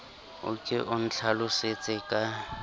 o ke o ntlhalosetse ka